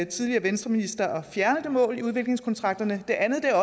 tidligere venstreminister at fjerne det mål i udviklingskontrakterne det andet er